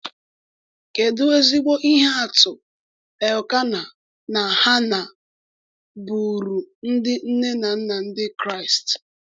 Kedu ezigbo ihe atụ Elkanah na Hannạ bụụrụ ndị nne na nna Ndị Kraịst!